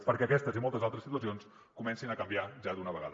perquè aquestes i moltes altres situacions comencin a canviar ja d’una vegada